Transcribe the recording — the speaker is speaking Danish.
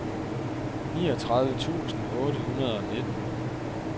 niogtredive tusind otte hundrede og nitten